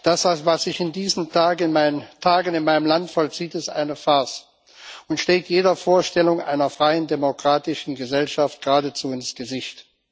Das, was sich in diesen Tagen in meinem Land vollzieht, ist eine Farce und schlägt jeder Vorstellung einer freien demokratischen Gesellschaft geradezu ins Gesicht.